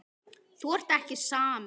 Þú ert ekki samur.